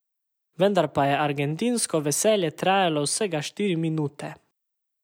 Vendar pa je argentinsko veselje trajalo vsega štiri minute.